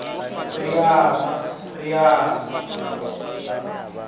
ri aḽa ri al a